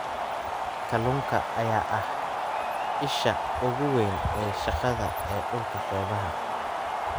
Kalluunka ayaa ah isha ugu weyn ee shaqada ee dhulka xeebaha ah.